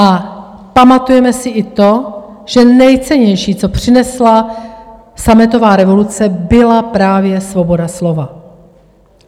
A pamatujeme si i to, že nejcennější, co přinesla sametová revoluce, byla právě svoboda slova.